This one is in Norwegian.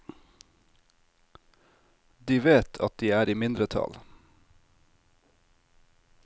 De vet at de er i mindretall.